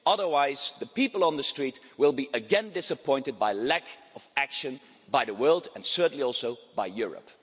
otherwise, the people on the streets will again be disappointed by the lack of action by the world, and certainly also by Europe.